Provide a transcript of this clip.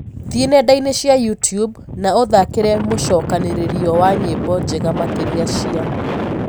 thĩĩ nendaini cĩa youtube na uthakire mucokaniririo wa nyĩmbo njega makĩrĩa cĩa